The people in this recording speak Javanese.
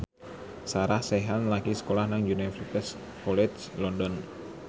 Sarah Sechan lagi sekolah nang Universitas College London